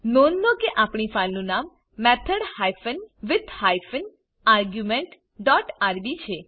નોંધ લો કે આપણી ફાઈલનું નામ method hyphen with hyphen argument dot RB છે